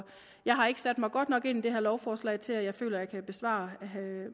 jeg har ikke sat mig godt nok ind i det her lovforslag til at jeg føler jeg kan besvare herre